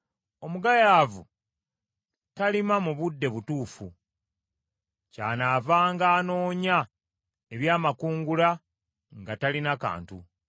Omugayaavu talima mu budde butuufu, kyanaavanga anoonya eby’amakungula nga talina kantu.